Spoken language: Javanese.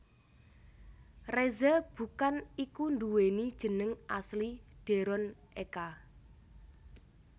Reza Bukan iku nduweni jeneng asli Deron Eka